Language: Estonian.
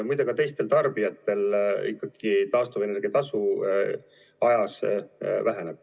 Muide, ka teistel tarbijatel ikkagi taastuvenergia tasu ajas väheneb.